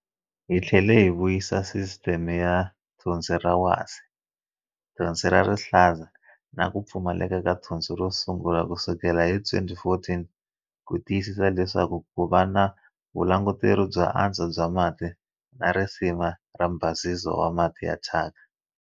Hi tlhele hi vuyisa sisiteme ya Thonsi ra Wasi, Thonsi ra Rihlaza na ku Pfumaleka ka Thonsi ro sungula kusukela hi 2014 ku tiyisisa leswaku ku va na vulanguteri byo antswa bya mati na risima ra mbhasiso wa mati ya thyaka.